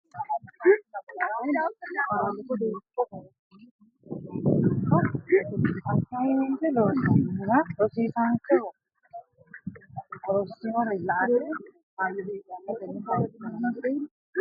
Tenne sayikki lamalara qaalunnino ikko borrotenni uminsa qeechi looso assaymente loossannohura rosiisaanchoho rossinore la ate kaayyo heedhanno Tenne sayikki lamalara.